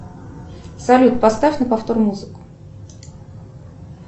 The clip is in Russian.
салют поставь на повтор музыку